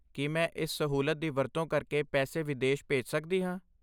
ਕੀ ਮੈਂ ਇਸ ਸਹੂਲਤ ਦੀ ਵਰਤੋਂ ਕਰਕੇ ਪੈਸੇ ਵਿਦੇਸ਼ ਭੇਜ ਸਕਦੀ ਹਾਂ?